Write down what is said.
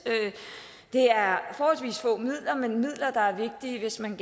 det er forholdsvis få midler men midler der er vigtige hvis man